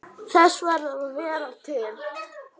Þess að vera til.